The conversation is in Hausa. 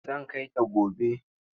Zan kai ta gobe.